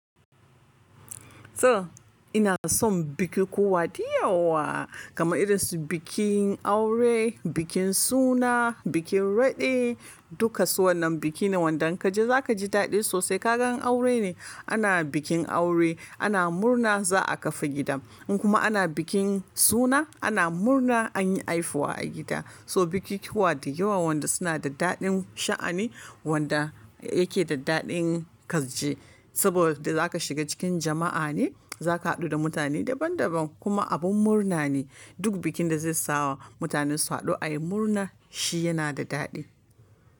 To ina son bukukuwa da yawa, kamar irin su bikin aure, bikin suna, bikin raɗe, duka su wannan bikin ne wanda in kaje za kaji daɗi sosai. Kaga in aure ne, ana bikin aure, ana murna za a tafi gida. In kuma ana bikin suna, ana murna anyi haihuwa a gida. So bukukuwa da yawa wanda suna da daɗin sha'ani, wanda yake da daɗin ƙarshe. Saboda zaka shiga cikin jama'a ne, zaka haɗu da mutane daban-daban kuma abun murna ne. Duk bikin da zai sa mutane su haɗu ayi murna shi yana da daɗi.